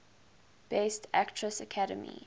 best actress academy